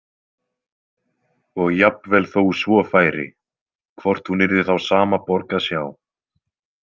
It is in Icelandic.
Og jafnvel þó svo færi, hvort hún yrði þá sama borg að sjá.